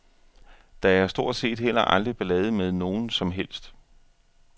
Der er stort set heller aldrig ballade med nogen som helst.